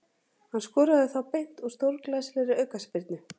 Hann skoraði þá beint úr stórglæsilegri aukaspyrnu.